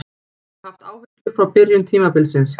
Ég hef haft áhyggjur frá byrjun tímabilsins.